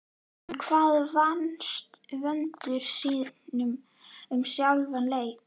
En hvað fannst Vöndu síðan um sjálfan leikinn?